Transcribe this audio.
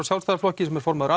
Sjálfstæðisflokki sem er formaður